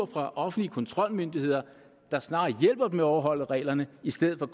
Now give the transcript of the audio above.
fra offentlige kontrolmyndigheder der snarere hjælper dem med at overholde reglerne i stedet for